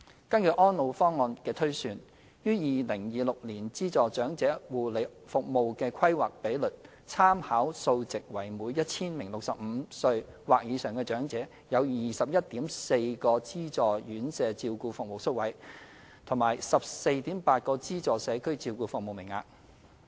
根據《安老方案》的推算，於2026年資助長期護理服務的規劃比率參考數值為每 1,000 名65歲或以上的長者有 21.4 個資助院舍照顧服務宿位和 14.8 個資助社區照顧服務名額。